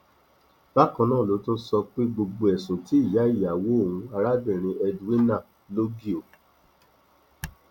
bákan náà ló tún sọ pé gbogbo ẹsùn tí ìyá ìyàwó òun arábìnrin edwina logio